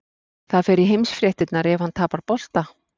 Það fer í heimsfréttirnar ef hann tapar bolta.